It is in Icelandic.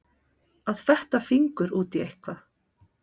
Að fetta fingur út í eitthvað